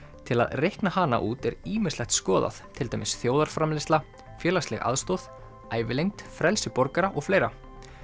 til að reikna hana út er ýmislegt skoðað til dæmis þjóðarframleiðsla félagsleg aðstoð ævilengd frelsi borgara og fleira